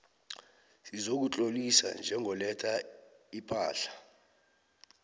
sokuzitlolisa njengoletha ipahla